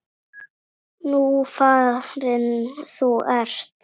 Nú farin þú ert.